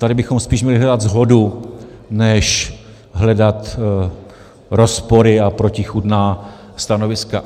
Tady bychom spíš měli hledat shodu než hledat rozpory a protichůdná stanoviska.